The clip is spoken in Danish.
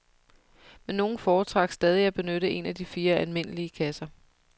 Men nogle foretrak stadig at benytte en af de fire almindelige kasser.